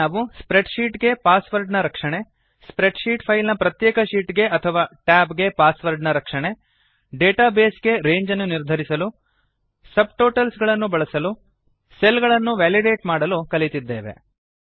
ಇಲ್ಲಿ ನಾವು spreadsheet ಗೆ ಪಾಸ್ ವರ್ಡ್ ನ ರಕ್ಷಣೆ ಸ್ಪ್ರೆಡ್ ಶೀಟ್ ಫೈಲ್ ನ ಪ್ರತ್ಯೇಕ ಶೀಟ್ ಗೆ ಅಥವಾ ಟ್ಯಾಬ್ ಗೆ ಪಾಸ್ ವರ್ಡ್ ನ ರಕ್ಷಣೆ ಡೇಟಾ ಬೇಸ್ ಗೆ ರೇಂಜ್ ಅನ್ನು ನಿರ್ಧರಿಸಲು ಸಬ್ಟೋಟಲ್ಸ್ ಗಳನ್ನು ಬಳಸಲು ಸೆಲ್ ಗಳನ್ನು ವೇಲಿಡೇಟ್ ಮಾಡಲು ಕಲಿತಿದ್ದೇವೆ